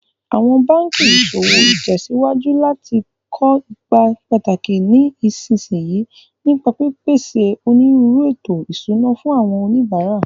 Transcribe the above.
Awọn banki iṣowo tẹsiwaju lati ko ipa pataki ní ìsinsìnyí, nípa pípèsè onírúurú ètò ìṣúná fún àwọn oníbàárà.